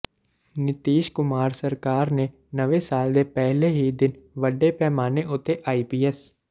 ਨੀਤੀਸ਼ ਕੁਮਾਰ ਸਰਕਾਰ ਨੇ ਨਵੇਂ ਸਾਲ ਦੇ ਪਹਿਲੇ ਹੀ ਦਿਨ ਵੱਡੇ ਪੈਮਾਨੇ ਉਤੇ ਆਈਪੀਐਸ